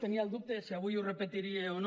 tenia el dubte de si avui ho repetiria o no